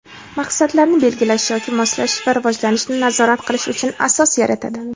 maqsadlarni belgilash yoki moslashish va rivojlanishni nazorat qilish uchun asos yaratadi.